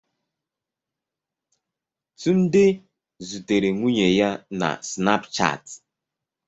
Tunde zutere nwunye ya na Snapchat